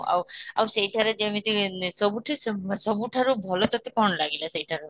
ଆଉ ସେଇଠାରେ ଯେମିତି ସବୁଠୁ ସବୁଠାରୁ ଭଲ କ'ଣ ଲାଗିଲା ସେଇଠାର